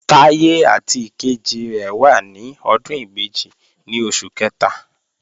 Táyé àti ìkejì rẹ̀ wà ní ọdún ìbejì ní oṣù kẹta